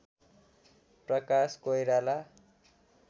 Prakash Koirala